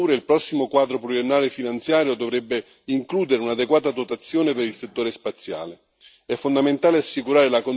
Per rispondere alle sfide attuali e future, il prossimo quadro finanziario pluriennale dovrebbe includere un'adeguata dotazione per il settore spaziale.